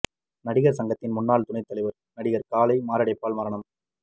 நடிகர் சங்கத்தின் முன்னாள் துணை தலைவர் நடிகர் காளை மாரடைப்பால் மரணம்